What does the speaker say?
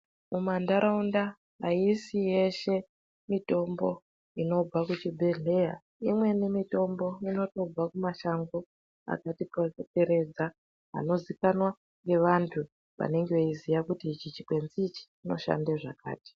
Mumantaraunda aisi yeshe, mitombo inobva kuchibhedhleya. Imweni mitombo inotobva kumashango akatikomberedza, anoziikanwa ngevantu vanenge veiziya, kuti ichi chikwenzi ichi ,chinoshande zvakati.